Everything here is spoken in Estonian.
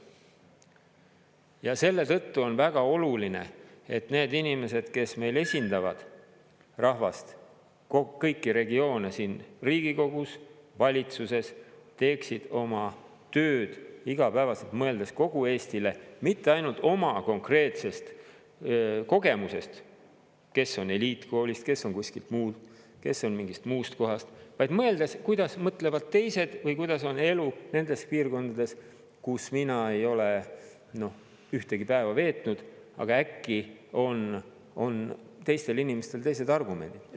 Ja selle tõttu on väga oluline, et need inimesed, kes meil esindavad rahvast, kõiki regioone siin Riigikogus, valitsuses, teeksid oma tööd igapäevaselt mõeldes kogu Eestile, mitte ainult oma konkreetsest kogemusest – kes on eliitkoolist, kes on kuskilt mujalt, kes on mingist muust kohast –, vaid mõeldes, kuidas mõtlevad teised või kuidas on elu nendes piirkondades, kus mina ei ole ühtegi päeva veetnud, aga äkki on teistel inimestel teised argumendid.